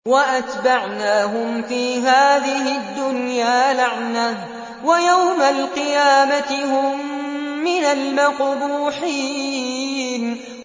وَأَتْبَعْنَاهُمْ فِي هَٰذِهِ الدُّنْيَا لَعْنَةً ۖ وَيَوْمَ الْقِيَامَةِ هُم مِّنَ الْمَقْبُوحِينَ